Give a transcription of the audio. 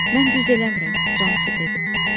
Mən düz eləmirəm, Consi dedi.